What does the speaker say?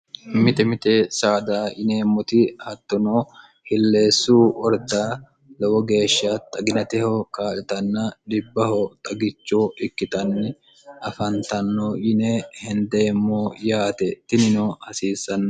mite mite saada yineemmoti hattono hilleessu ordda lowo geeshsha xaginateho kaa'litanna dhibbaho xagicho ikkitanni afantanno yine hendeemmo yaate tinino hasiissanno